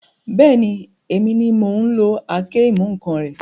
Bẹ́ẹ̀ni, èmi ni mò ún lo àáké-ìmú-ǹkan rẹ